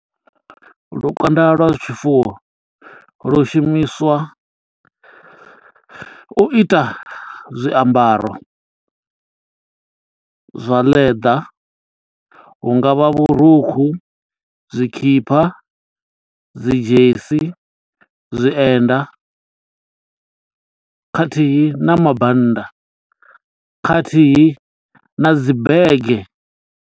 Lukanda lwa zwi tshifuwo lwu shumiswa u ita zwiambaro zwa ḽeḓa hungavha vhurukhu, zwikhipha, dzi dzhesi, zwienda, khathihi na mabannda khathihi na dzi bege.